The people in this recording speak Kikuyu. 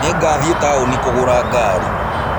Nĩngathiĩ taũni kũgũra ngaari.